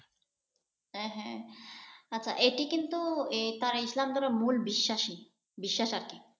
হ্যাঁ হ্যাঁ । আচ্ছা এটি কিন্তু ইসলাম ধর্মের মূল বিশ্বাসই। বিশ্বাস আর কি।